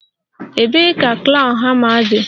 Ebee ka claw hama dị?